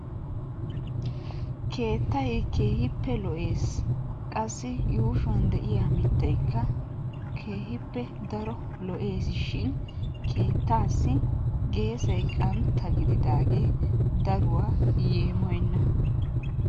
Keettay keehippe lo"ees, qassi yuushshuwan de'iyaa mittaykka keehippe daro lo"essishin keettassi geesay qantta gididaage daruwa yeemoyyena.